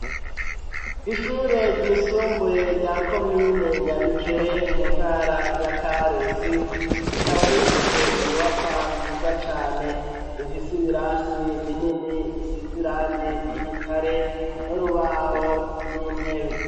Ishure ryisumbuye rya komine nyabikere mu ntara ya karusi rikaba rifise inyubakwa nziza cane zifise ibirasi binini bisize irangi ry'igitare no rubaho n'intebe.